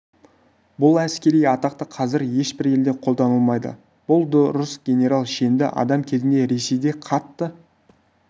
бұл әскери атақ та қазір ешбір елде қолданылмайды бұл дұрыс генерал шенді адам кезінде ресейде қатты